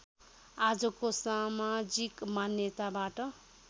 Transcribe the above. आजको समाजिक मान्यताबाट